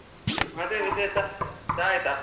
ಮತ್ತೇ ವಿಶೇಷ ಚಾ ಆಯ್ತಾ?